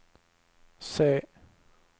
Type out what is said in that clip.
se